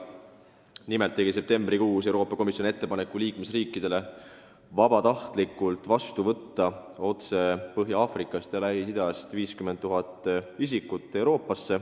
Nimelt tegi Euroopa Komisjon septembrikuus liikmesriikidele ettepaneku vabatahtlikult vastu võtta 50 000 otse Põhja-Aafrikast ja Lähis-Idast Euroopasse saabunud isikut.